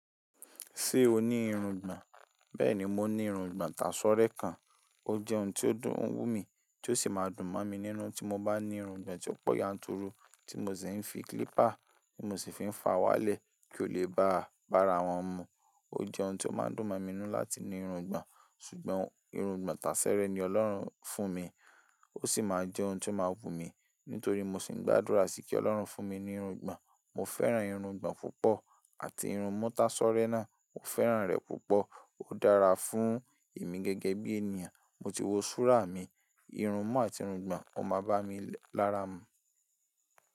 Ṣé o ní irun ìgbọ̀n? Bẹ́ẹ̀ni, mo ní irun ìgbọ̀n tasọ́rẹ́ kan. Ó jẹ́ ohun tó dùn ń wù mí, tí ó sì máa dùn mọ́ mi nínú tí mo bá ní irun ìgbọ̀n tí ó pọ̀ yanturu, tí mo sì ń fi clipper tí mo sì fi ń fá wálẹ̀ kí ó lè baà bára wọn mu. Ó jẹ́ ohun tó máa ń dùn mi nínú láti ní irun ìgbọ̀n, ṣùgbọ́n irun ìgbọ̀n tásẹ́rẹ́ ni Ọlọ́run fún mi. Ó sì máa jẹ́ ohun tó máa wù mí, nítorí mo sì ń gbàdúrà sí i kí Ọlọ́run fún mi ní irun ìgbọ̀n. Mo fẹ́ràn irun ìgbọ̀n púpọ̀ àti irunmú tasọ́rẹ́ náà, mo fẹ́ràn rẹ̀ púpọ̀. Ó dára fún ìmi gẹ́gẹ́ bí ènìyàn. Mo ti wo súrá mi, irun mú àti irun ìgbọ̀n. Ó máa bá mi lára mu.